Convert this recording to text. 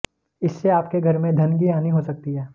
इससे आपके घर में धन की हानि हो सकती है